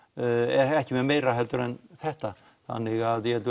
ekki með meira heldur en þetta þannig að ég held